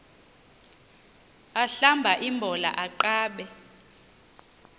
ahlamba imbola aqabe